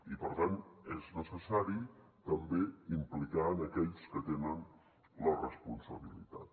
i per tant és necessari també implicar aquells que tenen la responsabilitat